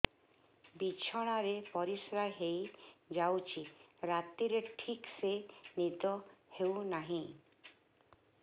ବିଛଣା ରେ ପରିଶ୍ରା ହେଇ ଯାଉଛି ରାତିରେ ଠିକ ସେ ନିଦ ହେଉନାହିଁ